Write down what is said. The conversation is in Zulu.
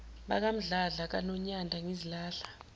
bakamdladla kanonyanda ngizilahla